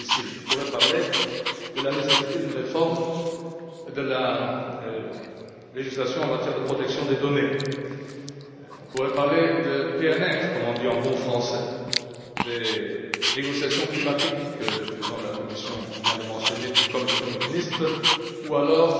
Je pourrais parler de la nécessité d'une réforme de la législation en matière de protection des données, on pourrait parler de PNR comme on dit en bon français des négociations climatiques, que le président de la Commission vient de mentionner, tout comme le Premier ministre, ou alors